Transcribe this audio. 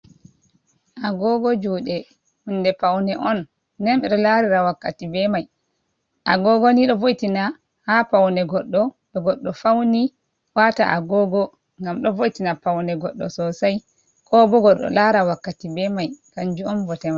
Agogo jude, hunde paunde on den bedo larira wakkati be mai agogo ni do wo'itina ha paunde goddo do goddo faune wata agogo gam do wo'itina paunne goddo sossai ko bogo do lara wakkati be mai kanju on bote man.